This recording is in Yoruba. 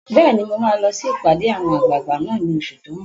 Bẹ́ẹ̀ni, mo máa lọ sí ìpàdé àwọn àgbààgbà náà ní oṣù tó n bọ̀